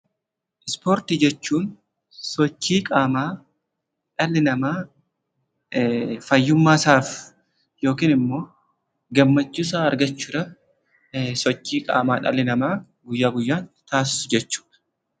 Ispoortii jechuun sochii qaamaa dhalli namaa fayyummaasaaf yookin immoo gammachuusaa argachuudhaaf sochii qaamaa dhalli namaa guyyaa guyyaan taasisu jechuudha.